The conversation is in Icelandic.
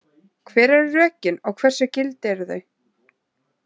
Hver eru rökin og hversu gild eru þau?